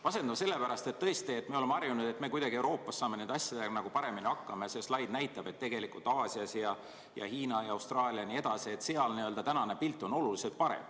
Masendav sellepärast, et tõesti, me oleme harjunud, et me Euroopas saame nende asjadega kuidagi paremini hakkama, aga see slaid näitab, et tegelikult Aasias ja Hiinas ja Austraalias jne – seal on tänane pilt oluliselt parem.